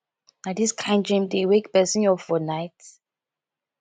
na dis kain dream dey wake pesin up for night